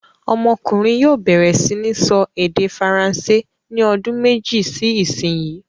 Ọmọkùnrin yóò bẹ̀rẹ̀ sí ní sọ èdè Faransé ní ọdún méjì sí ìsìnyín!